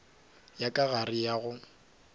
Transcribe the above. ya ka gare ya go